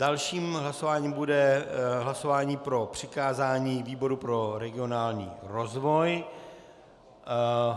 Dalším hlasováním bude hlasování o přikázání výboru pro regionální rozvoj.